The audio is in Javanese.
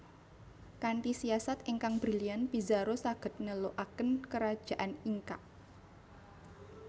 Kanthi siasat ingkang brilian Pizarro saged nelukaken Kerajaan Inca